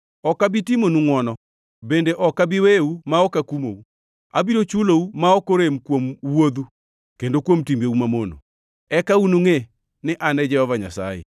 Ok abi timonu ngʼwono; bende ok abi weyou ma ok akumou. Abiro chulou ma ok orem kuom wuodhu kendo kuom timbeu mamono. Eka unungʼe ni An e Jehova Nyasaye.’